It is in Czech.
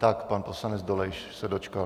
Tak pan poslanec Dolejš se dočkal.